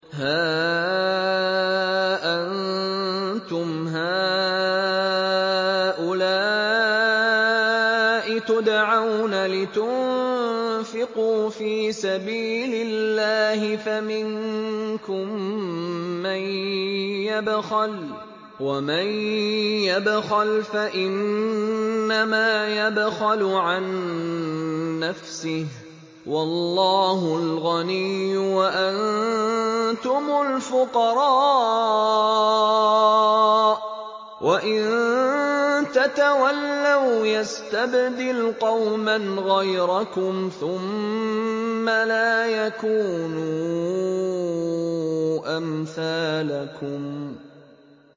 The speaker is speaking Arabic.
هَا أَنتُمْ هَٰؤُلَاءِ تُدْعَوْنَ لِتُنفِقُوا فِي سَبِيلِ اللَّهِ فَمِنكُم مَّن يَبْخَلُ ۖ وَمَن يَبْخَلْ فَإِنَّمَا يَبْخَلُ عَن نَّفْسِهِ ۚ وَاللَّهُ الْغَنِيُّ وَأَنتُمُ الْفُقَرَاءُ ۚ وَإِن تَتَوَلَّوْا يَسْتَبْدِلْ قَوْمًا غَيْرَكُمْ ثُمَّ لَا يَكُونُوا أَمْثَالَكُم